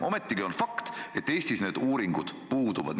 Ometigi on fakt, et Eestis need uuringud puuduvad.